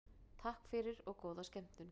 Takk fyrir og góða skemmtun.